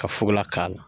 Ka fukola k'a la